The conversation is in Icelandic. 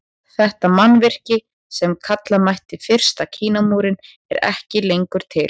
Þetta mannvirki sem kalla mætti fyrsta Kínamúrinn er ekki lengur til.